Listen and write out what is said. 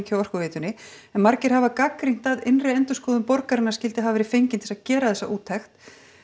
hjá Orkuveitunni en margir hafa gagnrýnt að innri endurskoðun borgarinnar skyldi ekki hafa verið fengin til þess að gera þessa úttekt